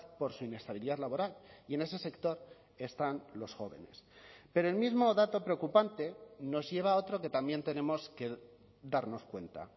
por su inestabilidad laboral y en ese sector están los jóvenes pero el mismo dato preocupante nos lleva a otro que también tenemos que darnos cuenta